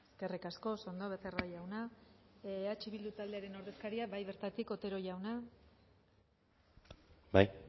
eskerrik asko oso ondo becerra jauna eh bildu taldearen ordezkaria bai bertatik otero jauna bai